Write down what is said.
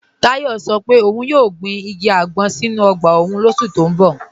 Tayo sọ́ pé óun yóò gbìn igi agbọn sínu ogba ọ́un lósù tó n bọ̀.